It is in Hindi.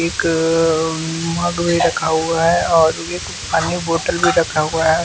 एक मग भी रखा हुआ है और एक पानी बॉटल भी रखा हुआ है।